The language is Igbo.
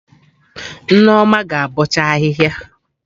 Nneoma ga-abọcha ahịhịa